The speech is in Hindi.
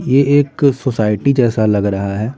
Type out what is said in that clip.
ये एक सोसाइटी जैसा लग रहा है।